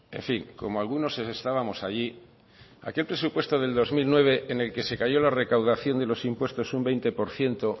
en fin como algunos estábamos allí aquel presupuesto de dos mil nueve en el que se cayó la recaudación y los impuestos un veinte por ciento